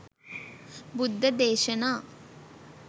බුද්ධ දේශනා